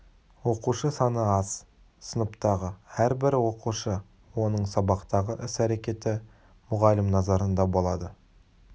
оқушы саны аз сыныптағы әрбір оқушы оның сабақтағы іс-әрекеті мұғалім назарында болады